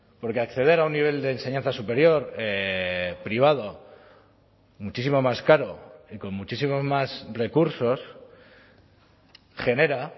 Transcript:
porque acceder a un nivel de enseñanza superior privado muchísimo más caro y con muchísimos más recursos genera